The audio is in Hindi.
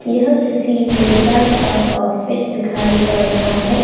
यह किसी नेता का ऑफिस दिखाई पढ़ रहा है।